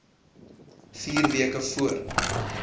vier weke voor